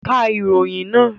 Ka ìròyìn náà!